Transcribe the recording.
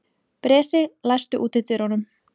Bresi, læstu útidyrunum.